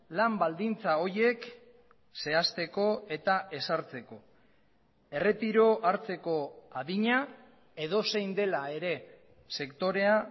lan baldintza horiek zehazteko eta ezartzeko erretiro hartzeko adina edozein dela ere sektorea